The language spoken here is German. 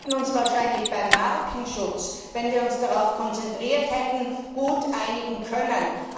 Wir hätten uns wahrscheinlich beim Markenschutz, wenn wir uns darauf konzentriert hätten, gut einigen können.